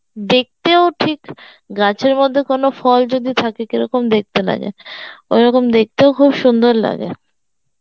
দেখতেও ঠিক গাছের মধ্যে কোনো ফল যদি থাকে কেরকম দেকতে লাগে ঐরকম দেকতেও খুব সুন্দর লাগে